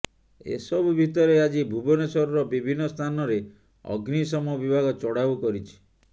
ଏସବୁ ଭିତରେ ଆଜି ଭୁବନେଶ୍ୱରର ବିଭିନ୍ନ ସ୍ଥାନରେ ଅଗ୍ନିଶମ ବିଭାଗ ଚଢାଉ କରିଛି